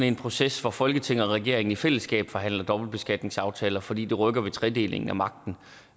en proces hvor folketinget og regeringen i fællesskab forhandler dobbeltbeskatningsaftaler fordi det rykker ved tredelingen af magten